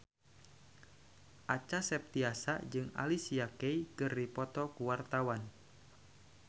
Acha Septriasa jeung Alicia Keys keur dipoto ku wartawan